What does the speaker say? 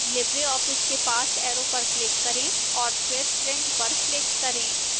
libreoffice के पास arrow पर click करें और फिर print पर click करें